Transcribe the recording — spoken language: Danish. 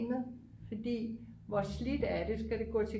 fordi hvor slidt er det skal det gå til